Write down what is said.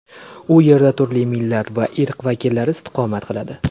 U yerda turli millat va irq vakillari istiqomat qiladi.